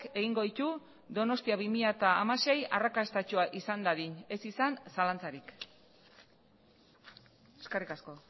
egingo ditu donostia bi mila hamasei arrakastatsua izan dadin ez izan zalantzarik eskerrik asko